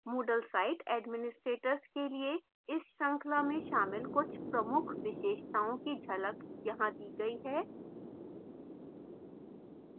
moodle site administrators के लिए इस श्रृंखला में शामिल कुछ प्रमुख विशेषताओं की झलक यहां दी गई है